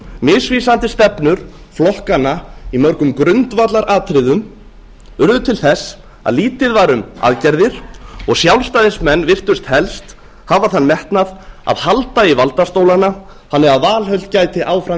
misvísandi stefnur flokkanna í mörgum grundvallaratriðum urðu til þess að lítið var um aðgerðir og sjálfstæðismenn virtust helst hafa þann metnað að halda í valdastólana þannig að valhöll gæti áfram